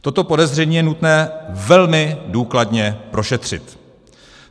Toto podezření je nutné velmi důkladně prošetřit.